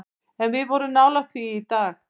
En við vorum nálægt því í dag.